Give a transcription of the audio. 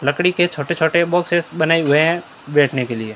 लकड़ी के छोटे छोटे बॉक्सेस बनाए हुए हैं बैठने के लिए--